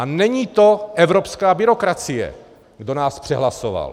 A není to evropská byrokracie, kdo nás přehlasoval.